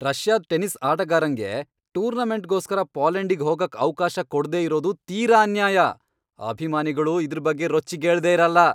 ರಷ್ಯಾದ್ tennis ಆಟಗಾರಂಗೆ ಟೂರ್ನಮೆಂಟ್ಗೋಸ್ಕರ ಪೋಲೆಂಡಿಗ್ ಹೋಗಕ್ ಅವ್ಕಾಶ ಕೊಡ್ದೇ ಇರೋದು ತೀರಾ ಅನ್ಯಾಯ, ಅಭಿಮಾನಿಗಳು ಇದ್ರ್ ಬಗ್ಗೆ ರೊಚ್ಚಿಗೇಳ್ದೇ ಇರಲ್ಲ.